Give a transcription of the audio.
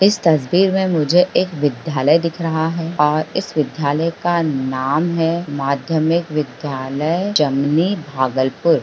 इस तस्वीर में मुझे एक विधायलए दिख रहा है और इस विधायलए का नाम है माध्यमिक विध्यालए जमनी भागलपुर।